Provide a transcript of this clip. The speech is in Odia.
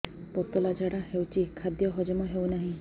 ପତଳା ଝାଡା ହେଉଛି ଖାଦ୍ୟ ହଜମ ହେଉନାହିଁ